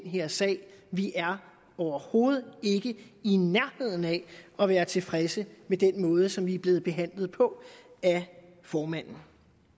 her sag vi er overhovedet ikke i nærheden af at være tilfredse med den måde som vi er blevet behandlet på af formanden